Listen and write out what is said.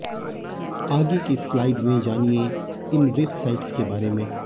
आगे की स्लाइड में जानिए इन वेबसाइट्स के बारें में